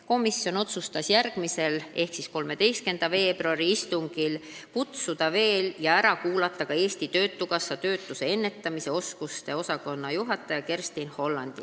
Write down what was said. Komisjon otsustas järgmisele ehk 13. veebruari istungile ärakuulamiseks kutsuda veel Eesti Töötukassa töötuse ennetamise ja oskuste arendamise osakonna juhataja Kerstin Hollandi.